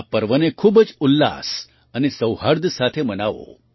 આ પર્વને ખૂબ જ ઉલ્લાસ અને સૌહાર્દ સાથે મનાવો